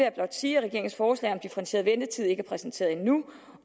at regeringens forslag om differentieret ventetid ikke er præsenteret endnu